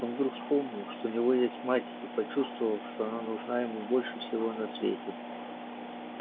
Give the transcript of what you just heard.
он вдруг вспомнил что у него есть мать и почувствовал что она нужна ему больше всего на свете